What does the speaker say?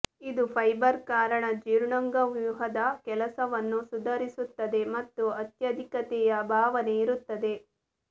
ಇದು ಫೈಬರ್ ಕಾರಣ ಜೀರ್ಣಾಂಗವ್ಯೂಹದ ಕೆಲಸವನ್ನು ಸುಧಾರಿಸುತ್ತದೆ ಮತ್ತು ಅತ್ಯಾಧಿಕತೆಯ ಭಾವನೆ ಇರುತ್ತದೆ